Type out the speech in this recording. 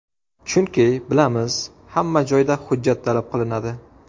Chunki, bilamiz, hamma joyda hujjat talab qilinadi.